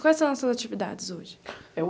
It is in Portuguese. Quais são as suas atividades hoje? Eu